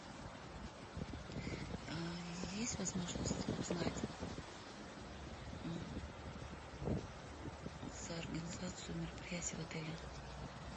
есть возможность узнать за организацию мероприятий в отеле